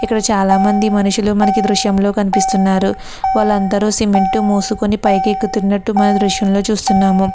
ఇక్కడ చాలామంది మనుషులు మనకి దృశ్యంలో కనిపిస్తున్నారు. వాళ్ళందరూ సిమెంటు మూసుకొని పైకెక్కుతున్నట్టు మన దృశ్యంలో చూస్తున్నాము.